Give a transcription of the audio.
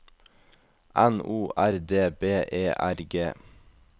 N O R D B E R G